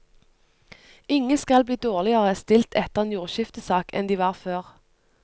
Ingen skal bli dårligere stilt etter en jordskiftesak enn de var før.